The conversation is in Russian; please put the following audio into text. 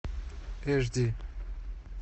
эш ди